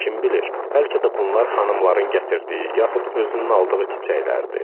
Kim bilir, bəlkə də bunlar xanımların gətirdiyi yaxud özünün aldığı çiçəklərdi.